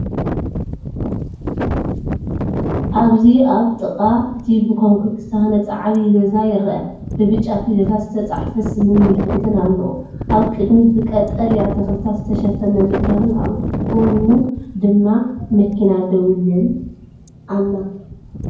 ኣብዚ ኣብ ጥቓ እቲ ብኮንክሪት ዝተሃንጸ ዓቢ ገዛ ይርአ፤ ብብጫ ፊደላት ዝተጻሕፈ ስምን ምልክትን ኣለዎ። ኣብ ቅድሚት፡ ብቀጠልያ ተኽልታት ዝተሸፈነ መድረኽን ኣብ ጎድኑ ድማ መኪና ደው ኢላን ኣላ።